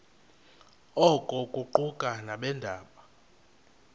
oku kuquka nabeendaba